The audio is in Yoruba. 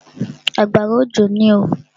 Àgbàrá òjò ní oo.